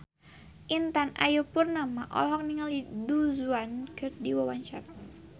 Intan Ayu Purnama olohok ningali Du Juan keur diwawancara